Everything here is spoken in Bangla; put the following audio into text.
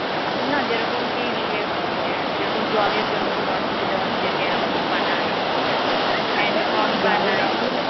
আচ্ছা না যেরকম কি ইয়ে এম ম যেরকম জলের জন্যে কোনো অসুবিধা হচ্ছে dam বানায় ঠিকআছে. হ্যাঁ এরকম বানায়.